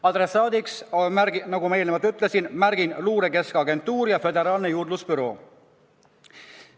Adressaadiks, nagu ma eelnevalt ütlesin, märgin Luure Keskagentuuri ja Föderaalse Juurdlusbüroo.